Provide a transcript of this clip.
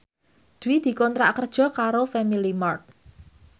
Dwi dikontrak kerja karo Family Mart